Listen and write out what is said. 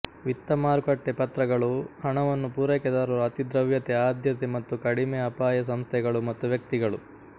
ವಿತ್ತ ಮಾರುಕಟ್ಟೆ ಪತ್ರಗಳು ಹಣವನ್ನು ಪೂರೈಕೆದಾರರು ಅತಿ ದ್ರವ್ಯತೆ ಆದ್ಯತೆ ಮತ್ತು ಕಡಿಮೆ ಅಪಾಯ ಸಂಸ್ಥೆಗಳು ಮತ್ತು ವ್ಯಕ್ತಿಗಳು